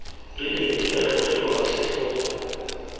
rileng di ka tlogelwa setlhogo